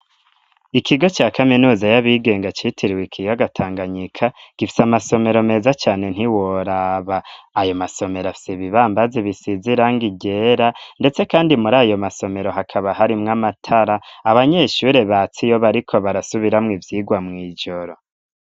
Ikigo ca kaminuza y'abigenga citiriwe ikiyaga tanganyika gifisa amasomero meza cyane ntiworaba ayo masomero afsi bibambazi bisizirang igera ndetse kandi muri ayo masomero hakaba hari mw amatara abanyeshure batsi yo b ariko barasubiramo ivyigwa mu ijoro.